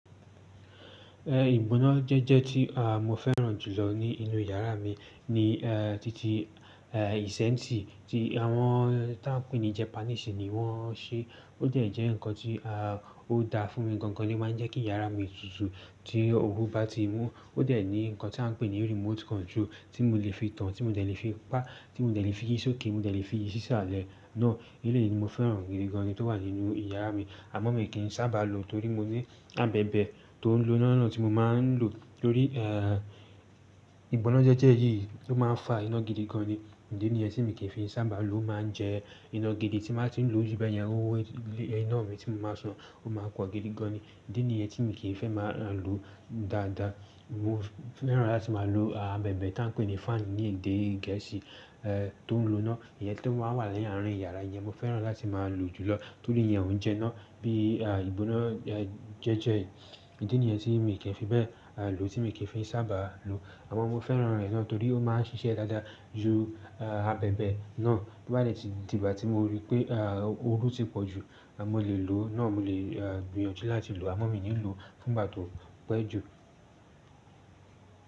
Ìgbónájẹ́jẹ́ tí àmó fẹ́ràn jùlọ ní inú yàrá mi ni eh titi eh isenti tí àwọn tí à n pè ní Japanese ni wọ́n ṣe. Ó dẹ̀ jẹ́ ǹkan tí à o da fún mi gangan ni máa ń jẹ́ kí yàrá mi tutù tí oru bá ti mú. Ó dè ní ǹkan tí à n pè ní remote control tí mo le fi tan, tí mo dè fi pa, tí mo dè fi yí sókè, mo dè fi yí sísàlẹ̀ náà. Eleyìí ni mo fẹ́ràn gidi gan ni tó wà nínú yàrá mi. Àmọ́ mi kì í sábà lo torí mo ní abẹ̀bẹ̀ tó ń lo iná náà tí mo máa ń lo torí eh ìgbónájẹ́jẹ́ yìí ó máa ń fa iná gidi gan ni. Ǹdì nìyẹn tí mi kì í fi sábà lo, o máa ń jẹ iná gidi tí màá ti ń lo ju bẹ́ẹ̀ yẹn, owó iná mi tí mo máa san ó máa pọ̀ gidi gan ni. Ǹdì nìyẹn tí mi kì í fẹ́ máa n lo dáadáa. Mo fẹ́ràn láti máa lo àbẹ̀bẹ̀ ta ń pè ní fáànì ní èdè Gẹ̀ẹ́sì eh tó ń lo iná. Ìyẹn tó máa wà ní àárín yàrá, ìyẹn mo fẹ́ràn láti máa lò jùlọ. Torí yẹn ń jẹ́ iná bí ìgbónájẹ́jẹ́ yìí. Ǹdì nìyẹn tí mi kì í fi bẹ́ẹ̀ lọ, tí mi kì í fi sábà lo. Àmọ́ mo fẹ́ràn rẹ̀ náà torí ó máa ń ṣiṣẹ́ dáadáa ju àbẹ̀bẹ̀ náà tó bá dè ti di ìgbà tí mo rí pé eh oru ti pọ̀ jù. Àmọ́ mo lè lò náà, mo lè gbìyànjú láti lò, àmọ́ mi ò ní lò fún ìgbà tó pẹ́ jù.